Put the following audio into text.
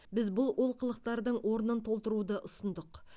біз бұл олқылықтардың орнын толтыруды ұсындық